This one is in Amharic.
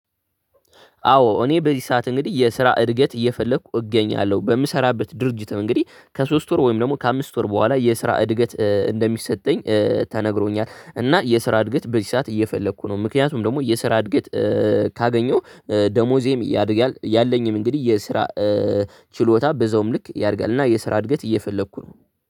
አዎ እኔ በዚህ ሰዓት እንግዲህ የስራ እድገት እየፈለግኩ እገኛለሁ። በምሰራበት ድርጅት ነው እንግዲህ ከሶስት ወር ወይም ደግሞ ከአምስት ወር በኋላ የስራ እድገት እንደሚሰጠኝ ተነግሮኛል። እና የስራ እድገት በዚህ ሰዓት እየፈለግኩ ነው፤ ምክንያቱም ደግሞ የስራ እድገት ካገኘሁ ደሞዜም ያድጋል፤ ያለኝም እንግዲህ የስራ ችሎታ በዛውም ልክ ያድጋል። እና የስራ እድገት እየፈልኩ ነው።